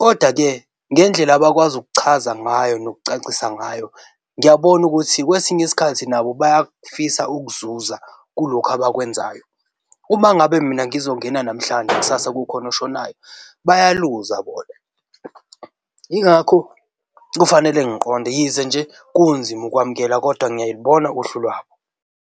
Kodwa-ke futhi ngendlela abakwazi ukuchaza ngayo nokucacisa ngayo, ngiyabona ukuthi kwesinye isikhathi nabo bayakufisa ukuzuza kulokhu abakwenzayo. Uma ngabe mina ngizongena namhlanje kusasa kukhona oshonayo bayaluza bona, yingakho kufanele ngiqonde. Yize nje kunzima ukwamukela kodwa ngiyayibona uhlu lwabo.